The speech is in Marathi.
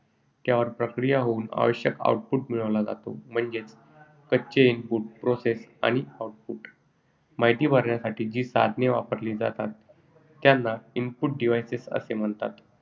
त्यावर प्रक्रिया होऊन आवश्यक output मिळवले जाते. म्हणजेच, कच्चे input process output माहिती भरण्यासाठी जी साधने वापरली जातात त्याना input devices असे म्हणतात.